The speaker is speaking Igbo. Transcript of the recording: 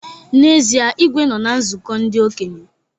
N'ezie, Igwe nọ na nzụkọ ndị okenye